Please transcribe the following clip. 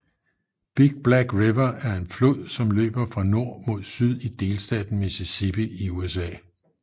Big Black River er en flod som løber fra nord mod syd i delstaten Mississippi i USA